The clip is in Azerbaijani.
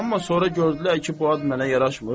Amma sonra gördülər ki, bu ad mənə yaraşmır.